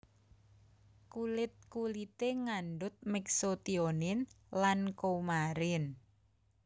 Kulit kulité ngandhut Mexotionin lan coumarin